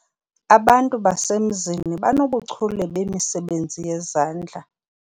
Aba bantu basemzini banobuchule bemisebenzi yezandla.